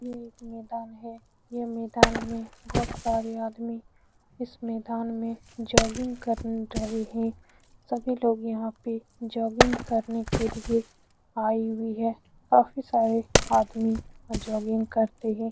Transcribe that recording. यह एक मैदान है यह मैदान में बहुत सारे आदमी इस मैदान में जोगिंग कर रहे हैं सभी लोग यहाँ पर जोगिंग करने के लिए आये हुए हैं काफी सारे आदमी जोगिंग करते हैं ।